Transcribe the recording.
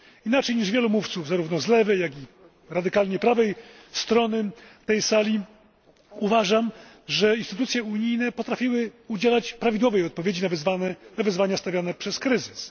W odróżnieniu od wielu mówców, zarówno z lewej, jak i z radykalnie prawej strony tej sali, uważam, że instytucje unijne potrafiły udzielać prawidłowej odpowiedzi na wyzwania stawiane przez kryzys.